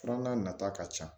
Filanan nata ka ca